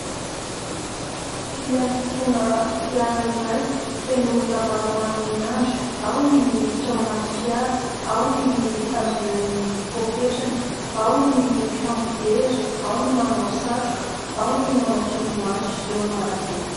Fiantsonana fiara iray feno olona maromaro miandry. Ao ny miditra ao anaty fiara, ao ny mitazona ny poaketrany ao ny mifampijery, ao ny manao satroka, ao ny manao solomaso eo an'arabe.